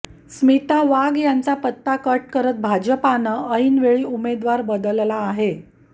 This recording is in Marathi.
स्मिता वाघ यांचा यांचा पत्ता कट करत भाजपनं ऐनवेळी उमेदवार बदलला आहे